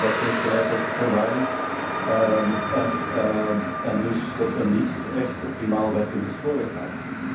Dat heeft geleid tot verwarring en dus tot een niet echt optimaal werkende spoorwegmarkt.